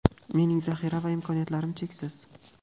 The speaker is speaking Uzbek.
Mening zaxira va imkoniyatlarim cheksiz.